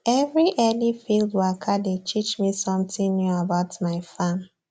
every early field waka dey teach me something new about my farm